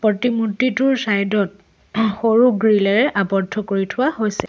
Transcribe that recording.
মূৰ্তিটোৰ side ত সৰু গ্ৰীলে এৰে আবদ্ধ কৰি থোৱা হৈছে।